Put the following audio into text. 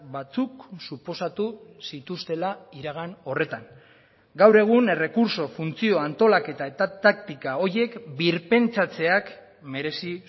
batzuk suposatu zituztela iragan horretan gaur egun errekurtso funtzio antolaketa eta taktika horiek birpentsatzeak merezi